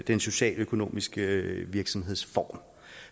den socialøkonomiske virksomhedsform